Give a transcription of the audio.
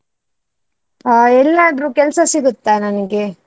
ಆ ಎಲ್ಲಾದ್ರೂ ಕೆಲ್ಸ ಸಿಗುತ್ತಾ ನನಗೆ?